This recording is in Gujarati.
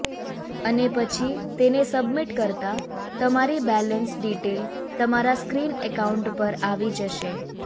અને પછી તેને સબમિટ કરતા તમારી બેલેન્સ ડિટેલ તમારા સ્ક્રીન એકાઉન્ટ પર આવી જશે